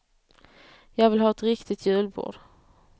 Jag vill ha ett riktigt julbord.